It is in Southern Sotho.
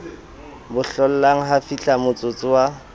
bo hlollang ha fihlamotsotso wa